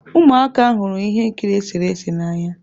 Ụmụaka hụrụ ihe nkiri eserese n'anya.